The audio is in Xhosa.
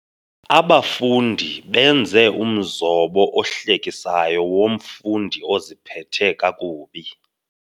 Abafundi baenze umzobo ohlekisayo womfundi oziphethe kakubi.